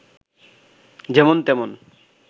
যেমন তেমন